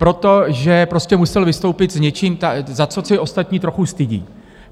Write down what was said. Protože prostě musel vystoupit s něčím, za co se ostatní trochu stydí.